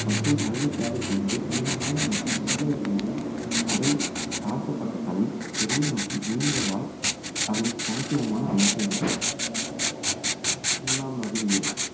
மற்றும் நல்ல தேவை கொண்டவை நீளமான மற்றும் உருளை வடிவ உடல் தாழ்த்தப்பட்ட தலை பெரிய மற்றும் நீண்ட வாய் அதன் தனித்துவமான அம்சங்கள் அறிவியல்